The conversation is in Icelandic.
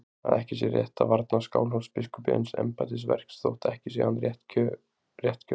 Að ekki sé rétt að varna Skálholtsbiskupi eins embættisverks þótt ekki sé hann réttkjörinn.